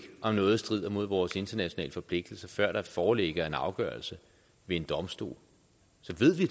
om noget strider mod vores internationale forpligtelser for før der foreligger en afgørelse ved en domstol så ved vi